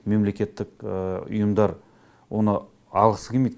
мемлекеттік ұйымдар оны алғысы келмейді